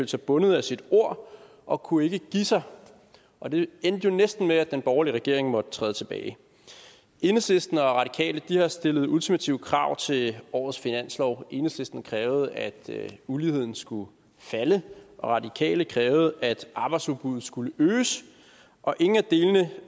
sig bundet af sit ord og kunne ikke give sig og det endte jo næsten med at den borgerlige regering måtte træde tilbage enhedslisten og radikale har stillet ultimative krav til årets finanslov enhedslisten krævede at uligheden skulle falde og radikale krævede at arbejdsudbuddet skulle øges og ingen af delene